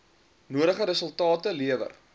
nodige resultate lewer